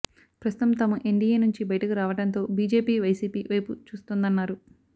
ప్రస్తుతం తాము ఎన్డీయే నుంచి బయటకు రావడంతో బీజేపీ వైసీపీ వైపు చూస్తోందన్నారు